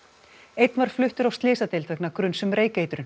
einn var fluttur á slysadeild vegna gruns um reykeitrun